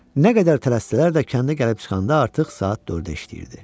Nə qədər tələsirdilər də kəndə gəlib çıxanda artıq saat 4-ə işləyirdi.